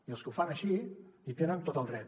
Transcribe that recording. i els que ho fan així hi tenen tot el dret